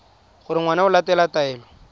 gore ngwana o latela taelo